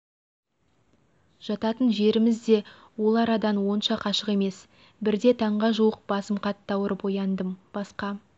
жататын жеріміз де ол арадан онша қашық емес бірде таңға жуық басым қатты ауырып ояндым басқа